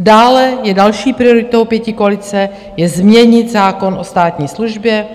Dále je další prioritou pětikoalice změnit zákon o státní službě